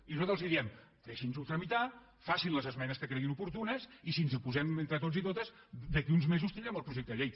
i nosaltres els diem deixi’ns·ho tramitar facin les esmenes que creguin oportunes i si ens hi posem entre tots i totes d’aquí uns mesos tindrem el projecte de llei